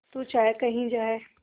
तू चाहे कही जाए